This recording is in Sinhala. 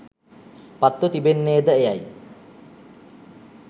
පත්ව තිබෙන්නේ ද එයයි